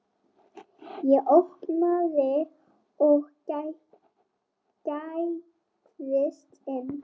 Ég opnaði og gægðist inn.